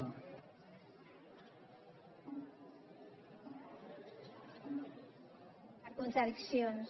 per contradiccions